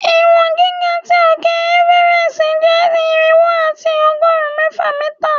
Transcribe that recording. Iwọn giga ti òke Everest jẹ irinwo ati ọgọrin mẹfa mita